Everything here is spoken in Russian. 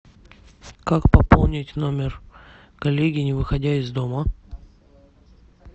как пополнить номер коллеги не выходя из дома